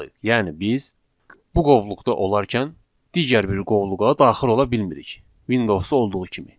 Yəni biz bu qovluqda olarkən digər bir qovluğa daxil ola bilmirik Windows-da olduğu kimi.